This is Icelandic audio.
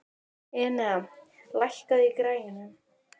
Enea, lækkaðu í græjunum.